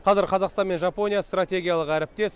қазір қазақстан мен жапония стратегиялық әріптес